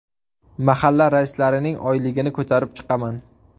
Mahalla raislarining oyligini ko‘rib chiqaman.